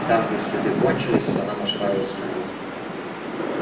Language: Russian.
и там где следы кончились она нашла его самого